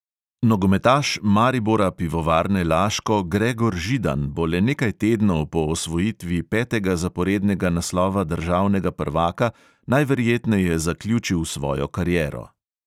Nogometaš maribora pivovarne laško gregor židan bo le nekaj tednov po osvojitvi petega zaporednega naslova državnega prvaka najverjetneje zaključil svojo kariero.